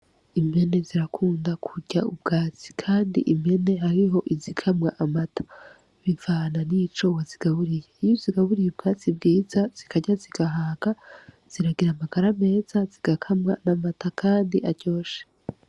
Impene zirakunda kurya ubwatsi, kandi impene hariho izikamwa amata bivana n'icobozigaburiye iyo zigaburiye ubwatsi bwiza zikarya zigahaka ziragira amagara meza zigakamwa n'amata, kandi aryoshe.